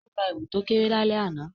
O ra èwù to kéré lálẹ́ àná